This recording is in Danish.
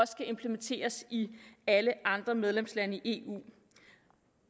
skal implementeres i alle andre medlemslande i eu